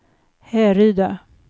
Härryda